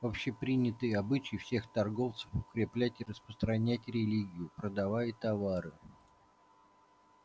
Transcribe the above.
общепринятый обычай всех торговцев укреплять и распространять религию продавая товары